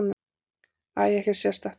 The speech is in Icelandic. Æi, ekkert sérstakt.